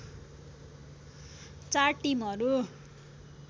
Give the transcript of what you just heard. चार टिमहरू